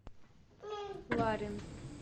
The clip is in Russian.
ларин